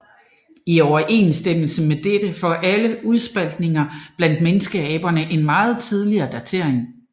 I overensstemmelse med dette får alle udspaltninger blandt menneskeaberne en meget tidligere datering